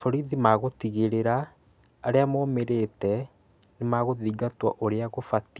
Borithi magũtigĩrĩra arĩa momĩrĩte nimarigitwo ũrĩa kũbatiĩ